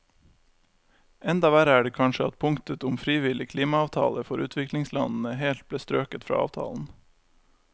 Enda verre er det kanskje at punktet om frivillige klimaavtaler for utviklingslandene helt ble strøket fra avtalen.